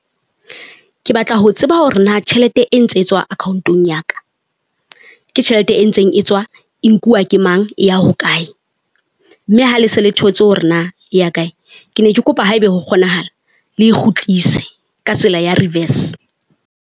Ke batla ho tseba hore na tjhelete e ntse e tswa account-ong ya ka ke tjhelete e ntseng e tswa e nkuwa ke mang e ya hokae, mme ha le se le thotse hore na e ya kae. Ke ne ke kopa haebe ho kgonahala le e kgutlise ka tsela ya reverse.